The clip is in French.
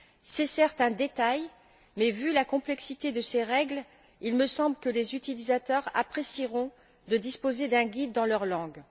C'est certes un détail mais, vu la complexité de ces règles, il me semble que les utilisateurs apprécieront de disposer d'un guide dans leur langue.